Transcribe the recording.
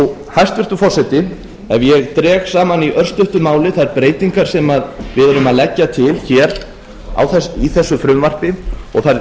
hæstvirtur forseti ef ég dreg saman í örstuttu máli þær breytingar sem við erum að leggja til hér í þessu frumvarpi og þær